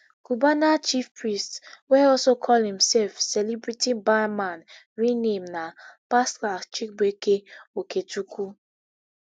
cubana chief priest wey also call imsef celebrity barman real name na pascal chibuike okechukwu